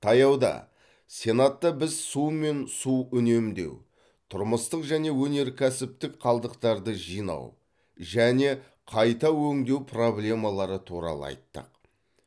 таяуда сенатта біз су мен су үнемдеу тұрмыстық және өнеркәсіптік қалдықтарды жинау және қайта өңдеу проблемалары туралы айттық